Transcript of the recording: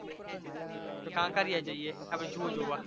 તો કાંકરિયા જઈએ આપડે zoo જોવા